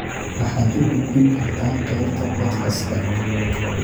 waxaad u gudbin kartaa qaybta podcast-ka